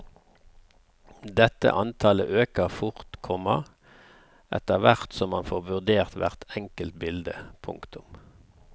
Dette antallet øker fort, komma etterhvert som man får vurdert hvert enkelt bilde. punktum